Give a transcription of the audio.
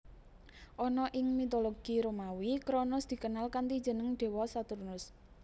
Ana ing mitologi Romawi Kronos dikenal kanthi jeneng dewa Saturnus